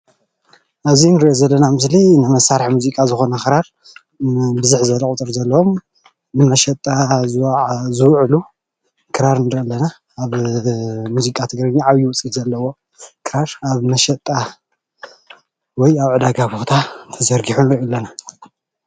አብዚ እንሪኦ ዘለና ምስሊ ንመሳርሒ ሙዚቃ ዝኮነ ክራር ብዝሕ ዝበለ ቀፅሪ እዩ ዘለዎም ንመሸጣ ዝውዕሉ ክራር እንሪኢ አለና፡፡ አብ ሙዚቃ ትግርኛ ዓብይ ውፅኢት ዘለዎም ክራር አብ መሸጣ ወይ ድማ አብ ዕዳጋ ቦታ ተዘርጊሖም ንርኢ አለና፡፡